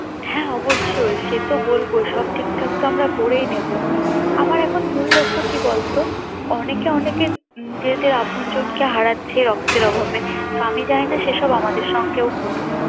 হ্যাঁ অবশ্যই সে তো বলবো সব ঠিকঠাক তো আমরা করেই নেবো আমার এখন মূল লক্ষ্য কি বলতো অনেকে অনেকের আপনজনকে হারাচ্ছে সে রক্তের অভাবে তো আমি চাইনা সেসব আমদের সাথেও ঘটুক